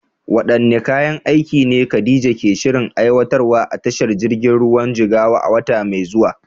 Waɗanne kayan aiki ne Khadija ke shirin aiwatarwa a tashar jirgin ruwan Jigawa a wata mai zuwa?